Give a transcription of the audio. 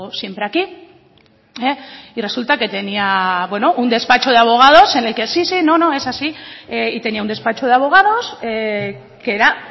siempre aquí y resulta que tenía un despacho de abogados en el que sí sí no no es así y tenía un despacho de abogados que era